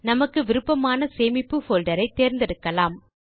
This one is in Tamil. நமக்கு விருப்பமான சேமிப்பு போல்டரை தேர்ந்தெடுக்கலாம்